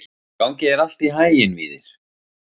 Gangi þér allt í haginn, Víðir.